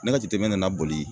Ne ka jateminɛ nana boli